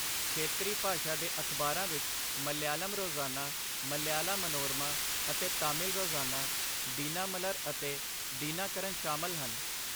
ਖੇਤਰੀ ਭਾਸ਼ਾ ਦੇ ਅਖ਼ਬਾਰਾਂ ਵਿੱਚ ਮਲਿਆਲਮ ਰੋਜ਼ਾਨਾ, ਮਲਿਆਲਾ ਮਨੋਰਮਾ ਅਤੇ ਤਾਮਿਲ ਰੋਜ਼ਾਨਾ, ਦਿਨਾਮਲਰ ਅਤੇ ਦਿਨਾਕਰਨ ਸ਼ਾਮਲ ਹਨ।